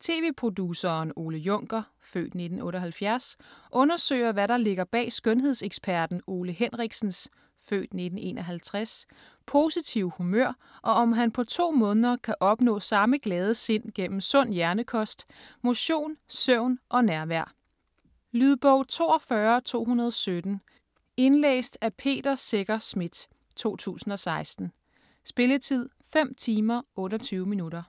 Tv-produceren Ole Juncker (f. 1978) undersøger hvad der ligger bag skønhedseksperten Ole Henriksens (f. 1951) positive humør, og om han på to måneder kan opnå samme glade sind gennem sund hjernekost, motion, søvn og nærvær. Lydbog 42217 Indlæst af Peter Secher Schmidt, 2016. Spilletid: 5 timer, 28 minutter.